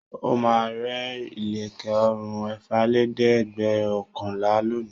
Ó máa ra ilẹ̀kẹ̀ ọrùn ẹ̀fàlélẹ́ẹ̀dẹ́gbẹ̀ọ̀kànlá lónìí.